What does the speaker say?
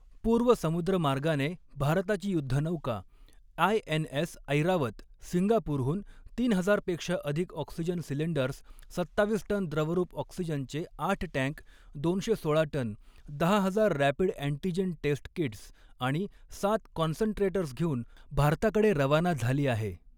पूर्व समुद्रमार्गाने भारताची युद्धनौका आयएनएस ऐरावत सिंगापूरहून तीन हजार पेक्षा अधिक ऑक्सिजन सिलेंडर्स, सत्तावीस टन द्रवरूप ऑक्सिजनचे आठ टँक दोनशे सोळा टन, दहा हजार रॅपिड अँटीजेन टेस्ट कीट्स आणि सात कॉन्सन्ट्रेटर्स घेऊन भारताकडे रवाना झाली आहे.